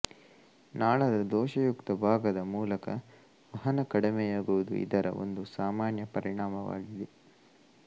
ನಾಳದ ದೋಷಯುಕ್ತ ಭಾಗದ ಮೂಲಕ ವಹನ ಕಡಿಮೆಯಾಗುವುದು ಇದರ ಒಂದು ಸಾಮಾನ್ಯ ಪರಿಣಾಮವಾಗಿದೆ